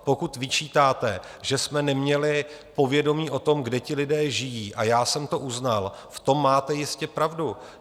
Pokud vyčítáte, že jsme neměli povědomí o tom, kde ti lidé žijí, a já jsem to uznal, v tom máte jistě pravdu.